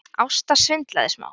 Ásta svindlaði smá